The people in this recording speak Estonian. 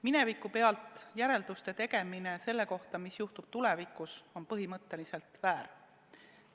Minevikule tuginedes järelduste tegemine selle kohta, mis juhtub tulevikus, on põhimõtteliselt väär.